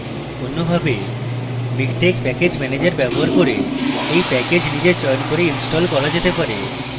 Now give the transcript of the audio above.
অন্যভাবে miktex package manager ব্যবহার করে এই প্যাকেজ নিজে চয়ন করে install করা যেতে পারে